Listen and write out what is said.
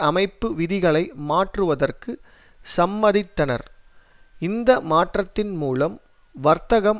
அமைப்பு விதிகளை மாற்றுவதற்கு சம்மதித்தனர் இந்த மாற்றத்தின் மூலம் வர்த்தகம்